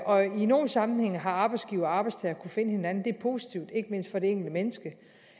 og i nogle sammenhænge har arbejdsgiver og arbejdstager kunne finde hinanden det er positivt ikke mindst for det enkelte menneske